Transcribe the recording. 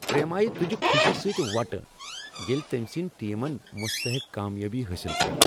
پریمایہ تُجہِ خوشی سٕتۍ وۄٹہٕ ییلہِ تٔمۍ سٕندۍ ٹیمن مستحق کامیٲبی حٲصل کٔر۔